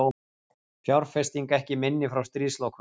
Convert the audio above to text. Fjárfesting ekki minni frá stríðslokum